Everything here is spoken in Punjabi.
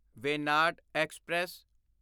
ਵੇਨਾਡ ਐਕਸਪ੍ਰੈਸ